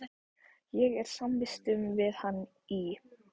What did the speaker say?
Ég var samvistum við hann í